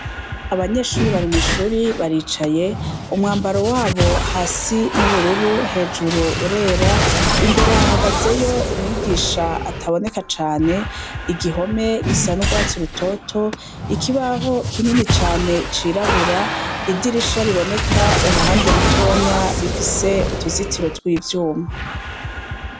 Abanyeshuri bari mw'ishuri baricaye umwambaro wabo hasi n'ubururu hejuru urera, imbere hahagazeyo umwigisha ataboneka cane igihome gisa n'urwatsi rutoto, ikibaho kinini cane cirabura, idirisha riboneka uruhande rutonya rifise utuzitiro tw'ivyuma.